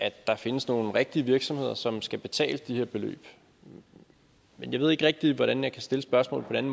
at der findes nogle rigtige virksomheder som skal betale de her beløb jeg ved ikke rigtig hvordan jeg kan stille spørgsmålet på en